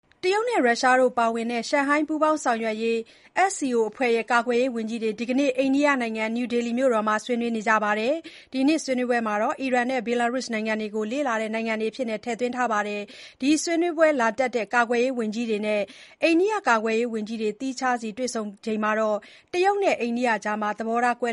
တရုတ်၊ ရုရှားတို့ပါဝင်တဲ့ Shanghai ပူးပေါင်းဆောင်ရွက်ရေး SCO အဖွဲ့ရဲ့ ကာကွယ်ရေးဝန်ကြီးတွေ ဒီနေ့ အိန္ဒိယနိုင်ငံ နယူးဒေလီ (New Delhi) မြို့တော်မှာ ဆွေးနွေးခဲ့ကြပါတယ်။ ဒီနှစ်ဆွေးနွေးပွဲမှာ အီရန်နဲ့ ဘယ်လာရုစ်နိုင်ငံတို့ကို လေ့လာနိုင်ငံတွေအဖြစ် ထည့်သွင်းခဲ့ပါတယ်။ ဒီဆွေးနွေးပွဲလာတက်တဲ့ ကာကွယ်ရေးဝန်ကြီးတွေနဲ့ အိန္ဒိယကာကွယ်ရေးဝန်ကြီး သီးခြားစီတွေ့ဆုံခဲ့စဉ်မှာ တရုတ်နဲ့ အိန္ဒိယကြား သဘောထားတွေ ကွဲ